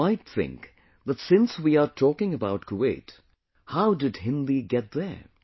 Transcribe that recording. Now you might think that since we are talking about Kuwait, how did Hindi get there